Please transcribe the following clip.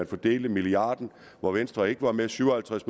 fordelte milliarden hvor venstre ikke var med syv og halvtreds